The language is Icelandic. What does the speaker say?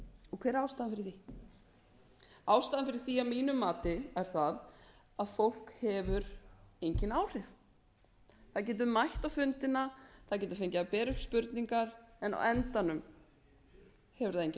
og hver er ástæðan fyrir því ástæðan fyrir því að mínu mati er sú að fólk hefur engin áhrif það getur mætt á fundina það getur fengið að bera upp spurningar en á endanum hefur það